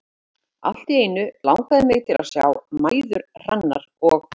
Allt í einu langaði mig til að sjá mæður Hrannar og